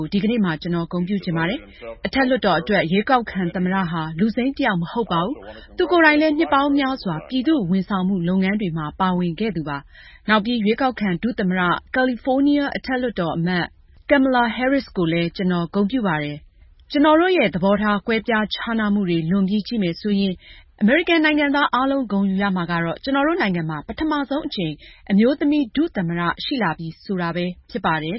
ိုဒီကနေ့မှာ ကျနော် ဂုဏ်ပြုချင်ပါတယ်။ အထက်လွှတ်တော်အတွက် ရွေးကောက်ခံ သမ္မတဟာ လူစိမ်းတယောက်မဟုတ်ပါဘူး။ သူကိုယ်တိုင်လည်း နှစ်ပေါင်းများစွာ ပြည်သူ့ဝန်ဆောင်မှုလုပ်ငန်းတွေမှာ ပါဝင်ခဲ့သူပါ။ နောက်ပြီး ရွေးကောက်ခံ ဒုသမ္မတ ကယ်လီဖိုးနီးယား အထက်လွှတ်တော်အမတ် Kamala Harris ကိုလည်း ကျနော်ဂုဏ်ပြုပါတယ်။ ကျနော်တို့ရဲ့သဘောထား ကွဲပြားခြားနားမှုတွေလွန်ပြီးကြည့်မယ်ဆိုရင် အမေရိကန်နိုင်ငံသားအားလုံး ဂုဏ်ယူရမှာကတော့ ကျနော်တို့နိုင်ငံမှာ ပထမဆုံးအကြိမ် အမျိုးသမီး ဒုသမ္မတ ရှိလာပြီဆိုတာပဲဖြစ်ပါတယ်